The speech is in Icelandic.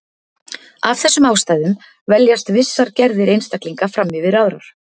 af þessum ástæðum veljast vissar gerðir einstaklinga fram yfir aðrar